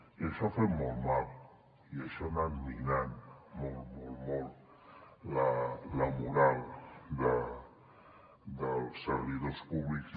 i això ha fet molt mal i això ha anat minant molt molt molt la moral dels servidors públics